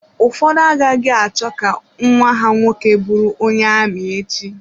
Ụfọdụ agaghị achọ ka nwa ha nwoke bụrụ onye ami echi.